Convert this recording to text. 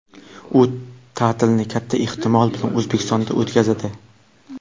U ta’tilni katta ehtimol bilan O‘zbekistonda o‘tkazadi.